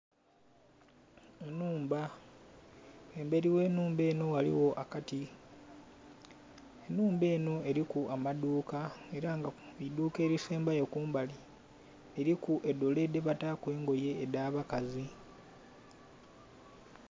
Ennhumba. Embeli gh'ennhumba enho ghaligho akati. Ennhumba enho eliku amaduuka ela nga eidhuuka elisembayo kumbali liliku dole dhebataaku engoye edh'abakazi.